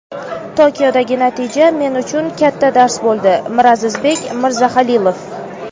Tokiodagi natija men uchun katta dars bo‘ldi – Mirazizbek Mirzahalilov.